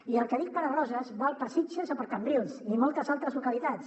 i el que dic per a roses val per a sitges o per a cambrils i moltes altres localitats